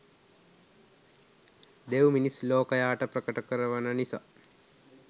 දෙව් මිනිස් ලෝකයාට ප්‍රකට කරවන නිසා